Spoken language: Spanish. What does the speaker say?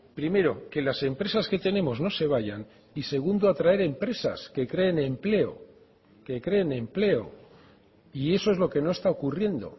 primero que las empresas que tenemos no se vayan y segundo atraer empresas que creen empleo que creen empleo y eso es lo que no está ocurriendo